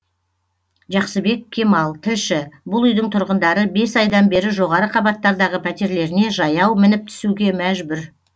жақсыбек кемал тілші бұл үйдің тұрғындары бес айдан бері жоғары қабаттардағы пәтерлеріне жаяу мініп түсуге мәжбүр